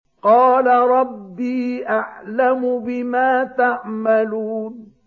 قَالَ رَبِّي أَعْلَمُ بِمَا تَعْمَلُونَ